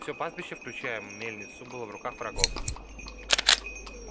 всё пастбище включая мельницу было в руках врагов